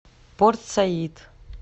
порт саид